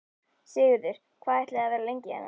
Sigurður: Hvað ætlið þið að vera lengi hérna?